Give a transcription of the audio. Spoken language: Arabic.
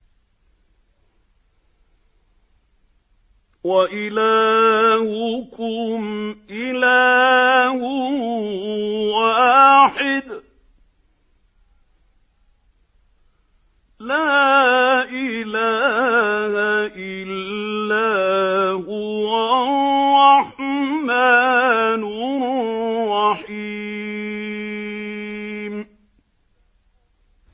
وَإِلَٰهُكُمْ إِلَٰهٌ وَاحِدٌ ۖ لَّا إِلَٰهَ إِلَّا هُوَ الرَّحْمَٰنُ الرَّحِيمُ